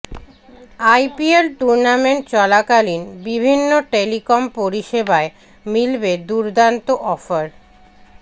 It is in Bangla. আইপিএল টুর্নামেন্ট চলাকালীন বিভিন্ন টেলিকম পরিষেবায় মিলবে দুর্দান্ত অফার